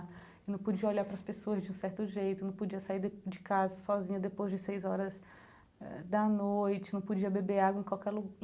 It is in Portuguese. Não podia olhar para as pessoas de um certo jeito, não podia sair de de casa sozinha depois de seis horas da noite, não podia beber água em qualquer